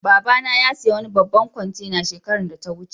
Baba na ya siya wani babban kwantena shekaran da ta wuce.